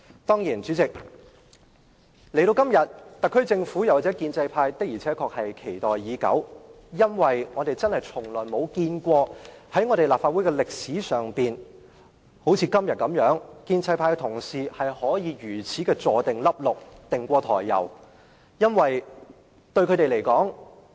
代理主席，今天這個機會，特區政府和建制派的確期待已久，因為我們從來沒有見過在立法會歷史上，建制派同事可以好像今天這樣"胸有成竹"。